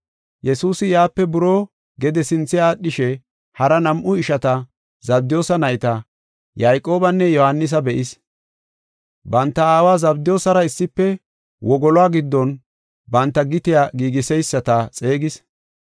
Yesuusi yaape buroo gede sinthe aadhishe hara nam7u ishata, Zabdiyoosa nayta, Yayqoobanne Yohaanisa be7is. Banta aawa Zabdiyoosara issife wogoluwa giddon banta gitiya giigiseyisata xeegis.